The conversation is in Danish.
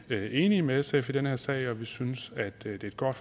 enige med sf i den her sag og vi synes det er et godt